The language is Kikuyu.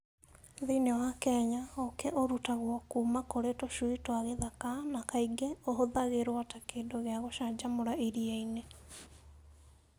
Thĩinĩ wa Kenya, ũũkĩ ũrutagwo kuuma kũrĩ tũcui twa gĩthaka na kaingĩ ũhũthagĩrũo ta kĩndũ gĩa gũcanjamũra iria-inĩ.